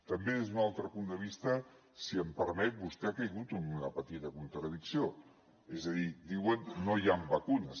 també des d’un altre punt de vista si em permet vostè ha caigut en una petita contradicció és a dir diuen no hi han vacunes